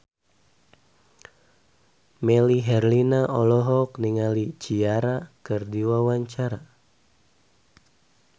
Melly Herlina olohok ningali Ciara keur diwawancara